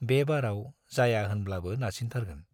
बे बाराव जाया होनब्लाबो नारसिनथारगोन।